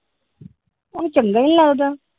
ਉਹਨੂੰ ਚੰਗਾ ਈ ਨੀ ਲੱਗਦਾ ।